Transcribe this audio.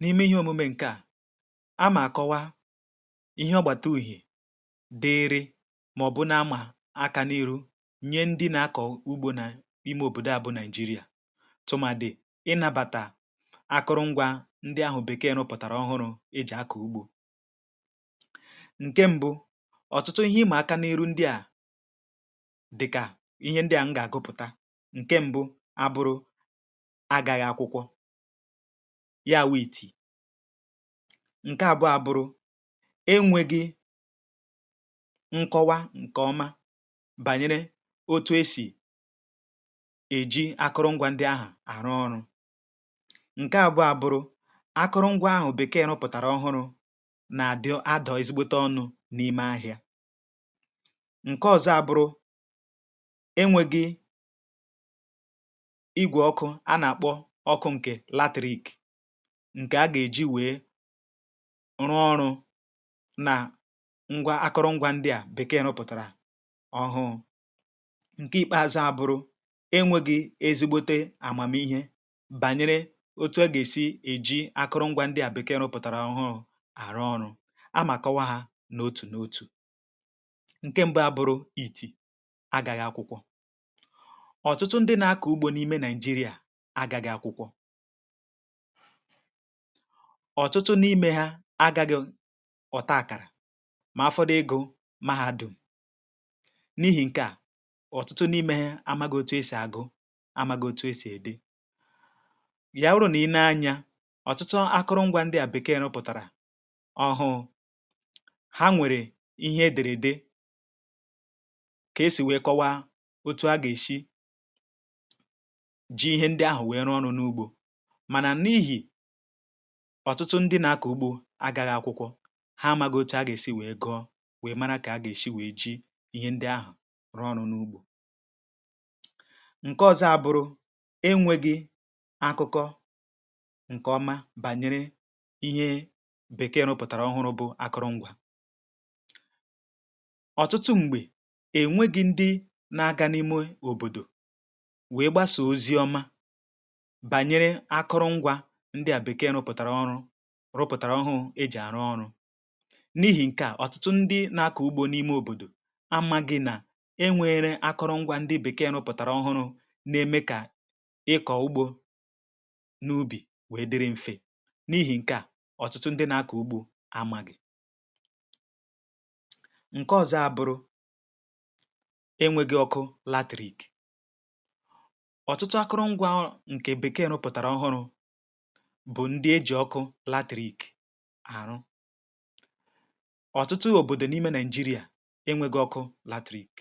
N’ime ihe omume nke à a, um ma akọwa ihe ọ gbata ùhè dịịrị, ma ọ bụ na-amà aka n’eru nye ndị na-akọwụ ugbo n’ime obodo abụ Naijiria, tụma dị ịnabata akụrụngwa ndị ahụ, bekaya n'ụpụtara ọhụrụ eji akọ ugbo nke mbu. Ọtụtụ ihe ịmà aka n’eru ndị à, dịkà ihe ndị à m ga-agụpụta ya. Wʊ̀ ìtì ǹke àbụọ abụrụ, enwėghi̇ nkọwa ǹkè ọma bànyere otu e sì èji akụrụngwȧ ndi ahụ̀ àrụ ọrụ. Ǹke àbụọ abụrụ akụrụngwȧ ahụ̀, bekere ụpụ̀tàrà ọhụrụ̇ nà-àdị a dị, a dị̀ ezigbote ọnụ̇ n’ime ahịȧ.(um) Ǹke ọ̇zọ̇ abụrụ ọkụ̇ ǹkè latìrik, ǹkè a gà-èji wèe rụọ ọrụ̇ nà ngwa akụrụngwȧ ndị à bèkeè nà-ụpụ̀tàrà ọhụụ. Ǹke ìkpeazụ̇ abụrụ enwėghi̇ ezigbote àmàmihe bànyere otu̇ agèsi èji akụrụngwȧ ndị à bèkeè nà-ụpụ̀tàrà ọhụụ àrụ ọrụ̇. A mà kọwa hȧ n’otù n’otù. Ǹke mbụ abụrụ èti agàghị̇ akwụkwọ ọ̀tụtụ n’imė ha, agȧghị̇ ọ̀ta àkàrà, mà afọ dị egȯ mahadum n’ihì. Nke à ọ̀tụtụ n’imė amagii otu esì agụ, amagii otu esì èdi yawụrụ nà i nė anya. Ọ̀tụtụ akụrụngwȧ ndi à bèkee rụpụ̀tàrà ọhụ̀ụ̀ ha nwèrè ihe edèrè, dị kà esì wèe kọwa otu a gà-èshi mànà n’ihì... Ọ̀tụtụ ndị nà-akọ̀ ugbȯ agȧghị̇ akwụkwọ̇ ha, amaghi̇ ocha, ha gà-èsi wèe gọọ, wèe mara kà ha gà-èsi wèe ji ihe ndị ahụ̀ rụọ n’ọ̀nụ̀ n’ugbȯ. Ǹke ọ̇zọ̇ àbụ̀rụ̀ enwėgị̇ akụkọ ǹkè ọma bànyere ihe bèkee rụpụ̀tàrà ọhụrụ̇, bụ̇ akụrụ̀ngwȧ ọ̀tụtụ. M̀gbè enwegị̇ ndị na-aga um n’ime òbòdò banyere akụrụngwȧ ndị à bèkee rụpụ̀tàrà ọrụ, rụpụ̀tàrà ọhụụ e jì àrụ ọrụ. N’ihi̇ ǹke à ọ̀tụtụ ndị nȧ-ȧkọ̀ ugbȯ n’ime òbòdò, a ma gị̇ nà e nwėre akụrụngwȧ ndị bèkee rụpụ̀tàrà ọhụrụ̇, nà-eme kà ịkọ̀ ugbȯ um n’ubì, wèe dịrị mfè. N’ihi̇ ǹke à ọ̀tụtụ ndị na-akọ̀ ugbȯ, àmàgị̀ ǹke ọ̀zọ abụ̀rụ̀ enwėghi̇ ọkụ latìrik, bụ̀ ndị e jì ọkụ latìrik̇ àrụ ọtụtụ òbòdò n’ime Nigeria. Enwėgȧ ọkụ latìrik̇